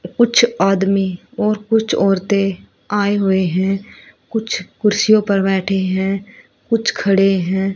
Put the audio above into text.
कुछ आदमी और कुछ औरते आए हुए है कुछ कुर्सियों पर बैठे है कुछ खड़े है।